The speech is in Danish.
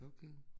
Okay